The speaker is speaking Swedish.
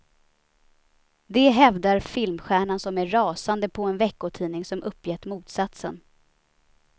Det hävdar filmstjärnan som är rasande på en veckotidning som uppgett motsatsen.